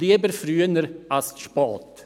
lieber früher als zu spät.